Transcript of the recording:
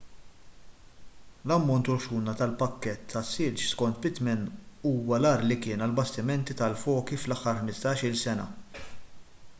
l-ammont u l-ħxuna tal-pakkett tas-silġ skont pittman huwa l-agħar li kien għall-bastimenti tal-foki fl-aħħar 15-il sena